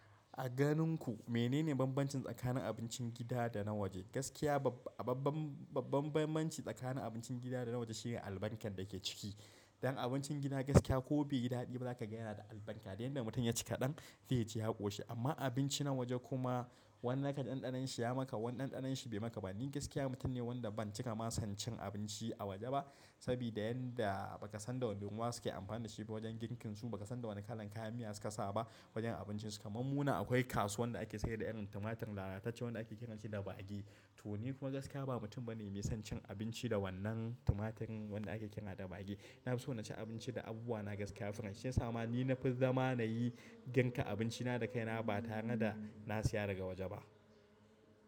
A ganin ku menene bambancin tsakanin abincin gida da na waje? Gaskiya ba-babban, bambancin tsakanin abincin gida da na waje shine albarkar da ke ciki. Dan abincin gida gaskiya ko beyi daɗi ba za ka gayana da albarka. Da yanda mutum ya ci kaɗan zai ji yaƙo shi. Amma abinci na waje kuma wani zakaji ɗanɗanonshi ya maka, wani ɗanɗanon shi bai maka ba. Ni gaskiya mutum ne wanda ban cika ma son cin abinci a waje ba, saboda yanda ba ka san da wane ruwa suke amfani da shi wajen girkinsu, ba ka san da wane kalan kayan miya suka sa ba wajen abincinsu. Kaman munan akwai kasuwan da ake sayar da irin tumatir lalatacce wanda ake ƙira shi da bage. To ni kuma gaskiya ba mutum bane mai son cin abinci da wannan tumatirin wanda ake ƙira da bage. Na fi so na ci abinci da abubuwa na gaskiya, fresh shi ya sama ni na fi zama na yi girka abinci na da kai na ba tare da na siya daga waje ba.